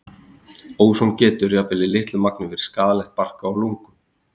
Óson getur, jafnvel í litlu magni, verið skaðlegt barka og lungum.